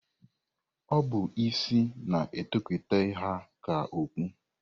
Ọ bụ isi na-etokata ha ka okpu.